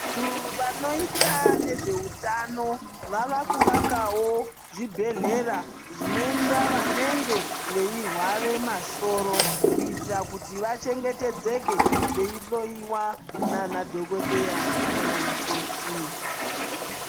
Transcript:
Vantu vanoita nezve hutano wavakuvakawo zvibhedhlera zvinoenda vanenge veirwara masoro kuitira kuti vantu vachengetedzeke veihloiwa nana dhokodheya nana mukoti.